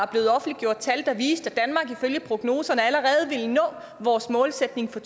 blevet offentliggjort tal der viste at ifølge prognoserne allerede ville nå vores målsætning for